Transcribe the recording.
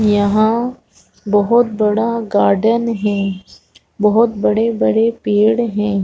यहाँ बहोत बड़ा गार्डन है बहोत बड़े -बड़े पेड़ है।